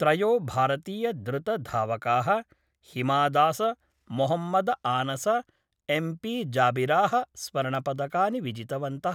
त्रयो भारतीयद्रुतधावका: हिमादासमोहम्मदआनस एम्पी जाबिरा: स्वर्णपदकानि विजितवन्त:।